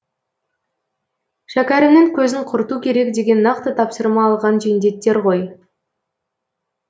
шәкәрімнің көзін құрту керек деген нақты тапсырма алған жендеттер ғой